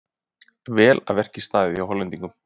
Vel að verki staðið hjá Hollendingnum.